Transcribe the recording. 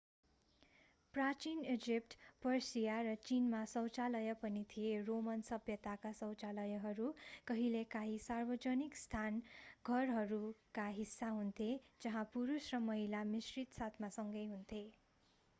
प्राचीन Egypt Persia र चीनमा शौचालय पनि थिए रोमन सभ्यतामा शौचालयहरू कहिलेकाहीँ सार्वजनिक स्नान घरहरूका हिस्सा हुन्थे जहाँ पुरुष र महिलाहरू मिश्रित साथमा सँगै हुन्थे